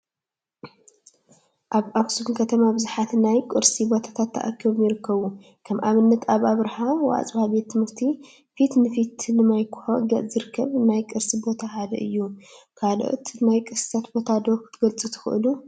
አብ አክሱም ከተማ ቡዙሓት ናይ ቅርሲ ቦታታት ተካቢቦም ይርከቡ፡፡ ከም አብነት አብ አብርሃ ወአፅብአ ቤት ትምህርቲ ፊት ንፊት ንማይ ኮሖ ገፅ ዝርከብ ናይ ቅርሲ ቦታ ሓደ እዩ፡፡ ካልኦት ናይ ቅርሲ ቦታታት ዶ ክትገልፁ ትክእሉ?